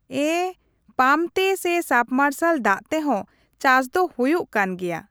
ᱮᱸᱻᱯᱟᱢ ᱛᱮ ᱥᱮ ᱥᱟᱵᱽᱢᱟᱨᱥᱟᱞ ᱫᱟᱜ ᱛᱮᱦᱚᱸ ᱪᱟᱥ ᱫᱚ ᱦᱳᱭᱳᱜ ᱠᱟᱱ ᱜᱮᱭᱟ ᱾